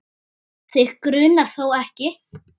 Þig grunar þó ekki?